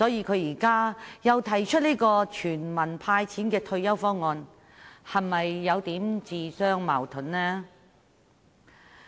他現在提出"全民派錢"的退休保障方案，是否有點自相矛盾呢？